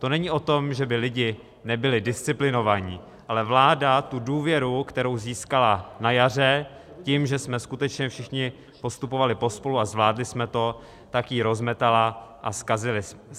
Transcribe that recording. To není o tom, že by lidi nebyli disciplinovaní, ale vláda tu důvěru, kterou získala na jaře tím, že jsme skutečně všichni postupovali pospolu a zvládli jsme to, tak ji rozmetala a zkazilo se to.